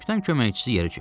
Kapitan köməkçisi yerə çökdü.